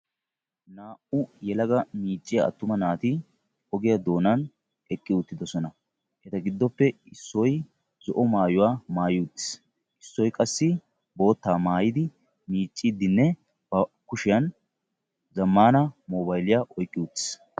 Naa'u yelaga miicciya atumma naati ogiya doonan eqqi uttidosonna. Naa'u naati miicidinne bantta kushiyan zamaana mobaylliya oyqqi uttiis.